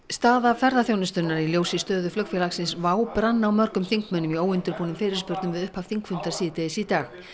staða ferðaþjónustunnar í ljósi stöðu flugfélagsins WOW brann á mörgum þingmönnum í óundirbúnum fyrirspurnum við upphaf þingfundar síðdegis í dag